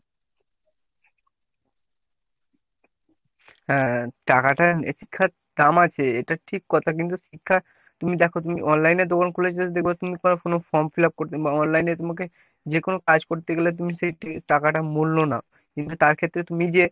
হ্যাঁ টাকাটা নির্ঘাত কামাচ্ছে। এটা ঠিক কথা কিন্তু শিক্ষা তুমি দেখো তুমি online এ দোকান খুলে just দেখবে তুমি কারো কেনো form fill-up করছো বা online এ তোমাকে যে কোনো কাজ করতে গেলে তুমি সেই টাকাটার মূল্য নাও কিন্তু তার ক্ষেত্রে তুমি যে